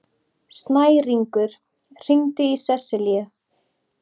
Snæringur, hringdu í Seselíu.